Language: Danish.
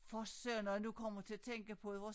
For Søren når jeg nu kommer til at tænke på det hvor